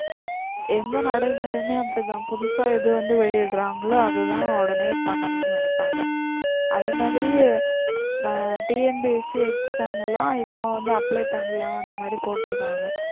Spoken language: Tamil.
எந்த நடைமுறையுமே அப்படிதான் புதுசா எது வந்து வெளியிடுறாங்களோ அதுதான் உடனே பண்ணனும்னு நினைப்பாங்க அதேமாதிரி ஆஹ் TNPSC exam லாம் இப்போ வந்து apply பண்ணலாம் அந்த மாதிரி போட்டுருக்காங்க